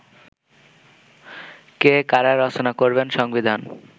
কে, কারা রচনা করবেন সংবিধান